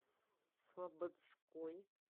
слободской